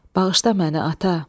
Bağışla məni, ata!